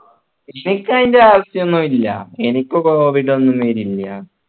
ക്ഷേ എനിക്ക് അതിൻ്റെ ആവിശ്യോന്നില്ല എനിക്ക് covid ഒന്നു വരില്ല